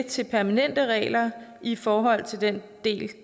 til permanente regler i forhold til den del